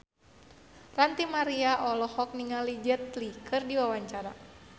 Ranty Maria olohok ningali Jet Li keur diwawancara